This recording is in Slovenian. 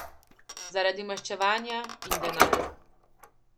Zaradi maščevanja in denarja.